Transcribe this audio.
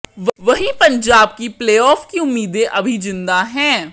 वहीं पंजाब की प्लेऑफ की उम्मीदें अभी जिंदा हैं